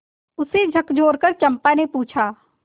उसे झकझोरकर चंपा ने पूछा